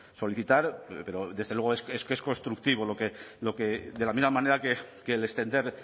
solicitar pero desde luego es que es constructivo lo que de la misma manera que el extender